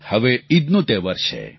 હવે ઈદનો તહેવાર છે